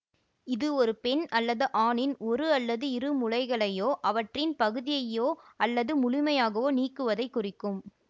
இது ஒரு பெண் அல்லது ஆணின் ஒரு அல்லது இரு முலைகளையோ அவற்றின் பகுதியையோ அல்லது முழுமையாகவோ நீக்குவதைக் குறிக்கும்